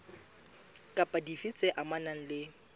kapa dife tse amanang le